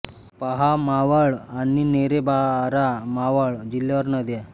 पहा मावळ आणि नेरे बारा मावळ जिल्हावार नद्या